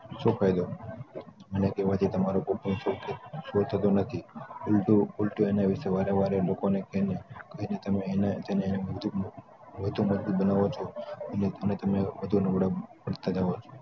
શું ફાયદો? મારા કેવાથી તમારુ દુખ ઓછું થતું નથી ઉપરથી તમે વારે વારે લોકો ને કી ને તમે અને ઓછું મટતું બનાવો છો એને તમે